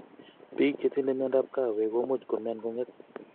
Piik chetindoi miondap kawek komuch komyan, kong'et